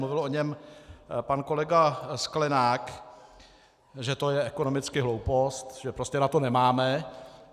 Mluvil o něm pan kolega Sklenák, že to je ekonomicky hloupost, že prostě na to nemáme.